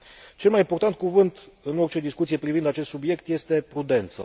Cel mai important cuvânt în orice discuție privind acest subiect este prudența.